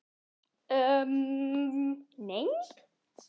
Getur maður hvergi fengið að kyssa lækninn sinn í einrúmi?